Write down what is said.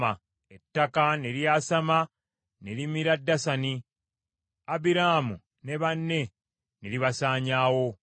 Ettaka ne lyasama ne limira Dasani; Abiraamu ne banne ne libasaanyaawo.